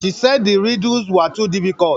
She said the riddles were too diffuicult